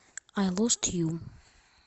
ай лост ю